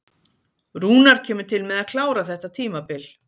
Rúnar kemur til með að klára þetta tímabil.